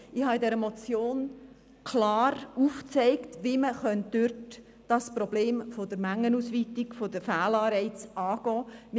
Ich habe in dieser Motion klar aufgezeigt, wie man dort das Problem der Mengenausweitung, der Fehlanreize angehen kann.